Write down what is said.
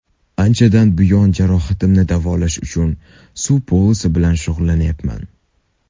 Anchadan buyon jarohatimni davolash uchun suv polosi bilan shug‘ullanyapman.